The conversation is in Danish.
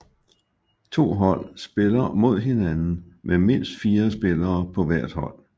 To hold spiller mod hinanden med mindst fire spillere på hver hold